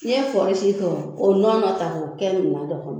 N'i kɔri si i fɛ, k'o nɔnɔ ta k'o kɛ minan dɔ kɔnɔ